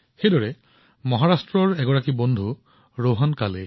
একেদৰে মহাৰাষ্ট্ৰৰ আন এজন সতীৰ্থ হৈছে ৰোহন কালে